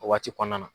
O waati kɔnɔna na